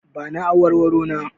Ba ni awarwaro na!